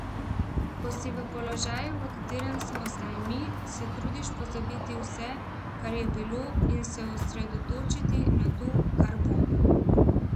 Ko si v položaju, v katerem smo zdaj mi, se trudiš pozabiti vse, kar je bilo, in se osredotočiti na to, kar bo.